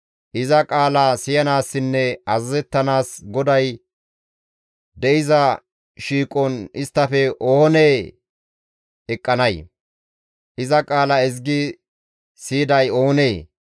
Iza qaala siyanaassinne azazettanaas GODAY de7iza shiiqon isttafe oonee eqqanay? Iza qaala ezgi siyiday oonee?